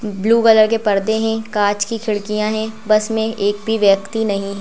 हुम् blue colour के पर्दे है कांच की खिड़कियां है बस मे एक भी व्यक्ति नहीं --